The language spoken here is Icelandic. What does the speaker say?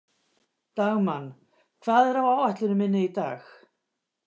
Dagmann, hvað er á áætluninni minni í dag?